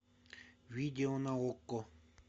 видео на окко